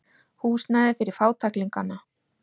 Húsnæði fyrir fátæklingana.